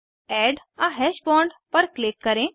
add a hash bond पर click करें